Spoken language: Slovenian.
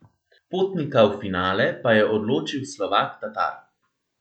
Potnika v finale pa je odločil Slovak Tatar.